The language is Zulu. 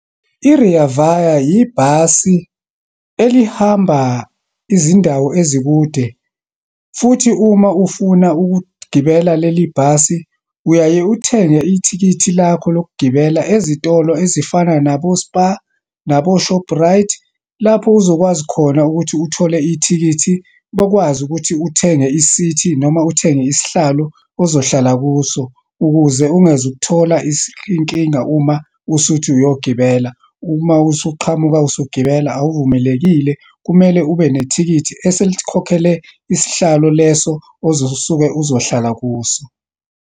I-Rea Vaya yibhasi elihamba izindawo ezikude. Futhi uma ufuna ukugibela leli bhasi, uyaye uthenge ithikithi lakho lokugibela, ezitolo ezifana nabo-Spar, nabo-Shoprite, lapho uzokwazi khona ukuthi uthole ithikithi, bokwazi ukuthi uthenge isithi noma uthenge isihlalo ozohlala kuso ukuze ungezu ukuthola inkinga uma usuthi uyogibela. Uma usuqhamukela usugibela awuvumelekile, kumele ube nethikithi ese likhokhele isihlalo leso osuke uzohlala kuso.